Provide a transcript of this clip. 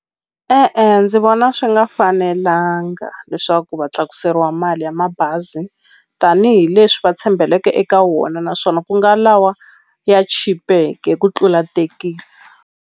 E-e ndzi vona swi nga fanelanga leswaku va tlakuseriwa mali ya mabazi tanihileswi va tshembeleke eka wona naswona ku nga lawa ya chipeke hi ku tlula thekisi.